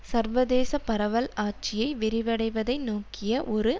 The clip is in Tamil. சர்வதேச பரவல் ஆட்சியை விரிவடைவதை நோக்கிய ஒரு